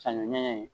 Sanu ɲɛ in